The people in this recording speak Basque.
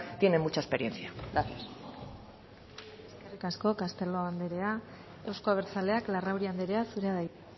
tiene mucha experiencia gracias eskerrik asko castelo andrea euzko abertzaleak larrauri andrea zurea da hitza